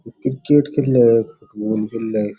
cricket खेल रहे है मोह --